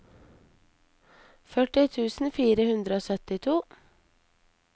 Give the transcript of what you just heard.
førti tusen fire hundre og syttito